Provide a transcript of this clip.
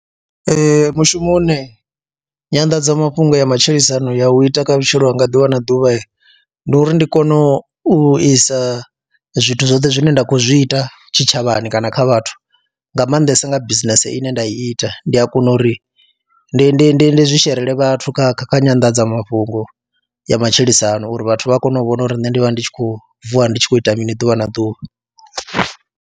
Ee, mushumo une nyanḓadzamafhungo ya matshilisano ya u ita kha vhutshilo hanga ḓuvha na ḓuvha ndi uri ndi kone u isa zwithu zwoṱhe zwine nda kho zwi ita tshitshavhani kana kha vhathu, nga maanḓesa nga bisinese ine nda ita ndi a kona uri ndi ndi ndi ndi zwi sherele vhathu kha kha kha nyanḓadzamafhungo ya matshilisano uri vhathu vha kone u vhona uri nṋe ndi vha ndi tshi khou vuwa ndi tshi khou ita mini ḓuvha na ḓuvha.